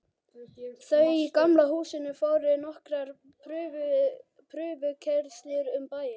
Þau í Gamla húsinu fóru nokkrar prufukeyrslur um bæinn.